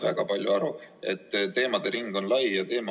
Määran muudatusettepanekute esitamise tähtajaks 28. mai s.